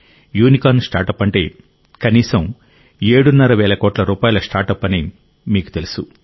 unicorn startup అంటే కనీసం ఏడున్నర వేల కోట్ల రూపాయల స్టార్టప్ అని మీకు తెలుసు